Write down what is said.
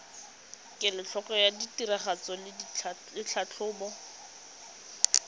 kelotlhoko ya tiragatso le tlhatlhobo